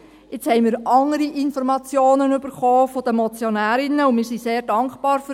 Jetzt haben wir von den Motionärinnen andere Informationen erhalten und sind sehr dankbar dafür.